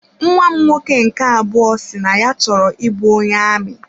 Nnwa m nwoke nke abụọ si na ya chọrọ ị bụ onye amị.